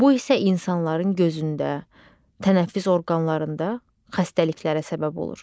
Bu isə insanların gözündə, tənəffüs orqanlarında xəstəliklərə səbəb olur.